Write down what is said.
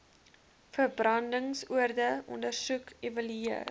verbrandingsoonde ondersoek evalueer